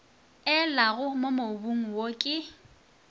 elago mo mobung wo ke